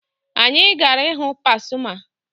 Anyị gara ịhụ Pasuma